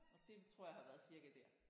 Og det tror jeg har været cirka der